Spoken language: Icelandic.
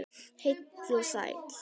Heill og sæll.